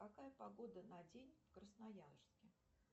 какая погода на день в красноярске